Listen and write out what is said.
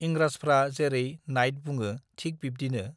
इंराजफ्रा जेरै नाइत बुङो थिक बिब्दिनो